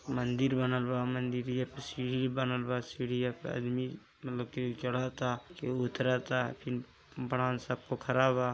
मंदिर बनल बा मंदारिया पर सीडी बनल बा सीड़िया पर आदमी मतलबी की चढ़त ता केहू उतरत ता फिर बड़ा सा पोखरा बा।